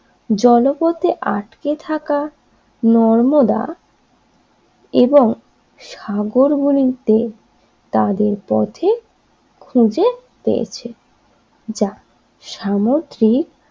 জলপথে আটকে থাকা নর্মদা এবং সাগর গুলিতে তাদের পথে খুঁজে পেয়েছে যা সামুদ্রিক